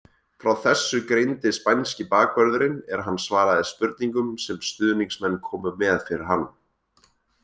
Frá þessu greindi spænski bakvörðurinn er hann svaraði spurningum sem stuðningsmenn komu með fyrir hann.